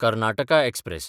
Karnataka express